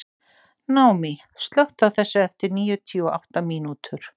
Naomí, slökktu á þessu eftir níutíu og átta mínútur.